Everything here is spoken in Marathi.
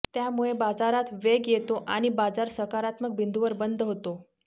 त्यामुळे बाजारात वेग येतो आणि बाजार सकारात्मक बिंदुवर बंद होतो